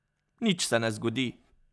Nič se ne zgodi.